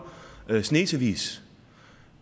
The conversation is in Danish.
snesevis